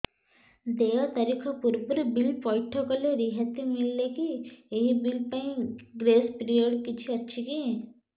ଦେୟ ତାରିଖ ପୂର୍ବରୁ ବିଲ୍ ପୈଠ କଲେ ରିହାତି ମିଲେକି ଏହି ବିଲ୍ ପାଇଁ ଗ୍ରେସ୍ ପିରିୟଡ଼ କିଛି ଅଛିକି